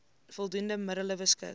voldoende middele beskik